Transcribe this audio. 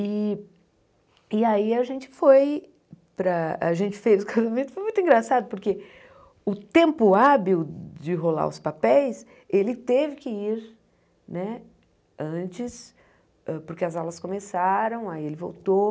E e aí a gente foi para, a gente fez o casamento, foi muito engraçado, porque o tempo hábil de rolar os papéis, ele teve que ir né antes, porque as aulas começaram, aí ele voltou.